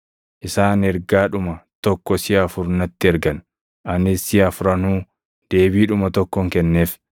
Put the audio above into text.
Isaan ergaadhuma tokko siʼa afur natti ergan; anis siʼa afranuu deebiidhuma tokkon kenneef.